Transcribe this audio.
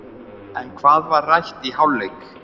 En hvað var rætt í hálfleik?